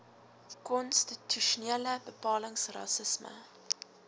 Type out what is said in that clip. konstitusionele bepalings rassisme